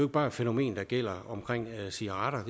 bare et fænomen der gælder omkring cigaretter